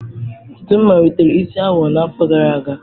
Ntutu m malitere isi awọ n'afọ gara aga.